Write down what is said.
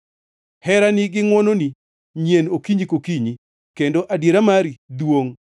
Herani gi ngʼwononi nyien okinyi kokinyi, kendo adiera mari duongʼ.